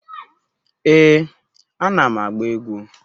Ee, anam agba egwu